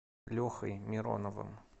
лехой мироновым